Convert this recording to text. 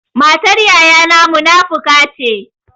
Matar yayana munafuka ce.